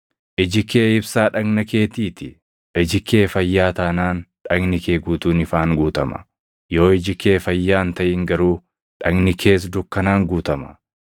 Iji kee ibsaa dhagna keetii ti. Iji kee fayyaa taanaan, dhagni kee guutuun ifaan guutama. Yoo iji kee fayyaa hin taʼin garuu dhagni kees dukkanaan guutama.